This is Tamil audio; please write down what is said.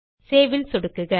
சேவ் ல் சொடுக்குக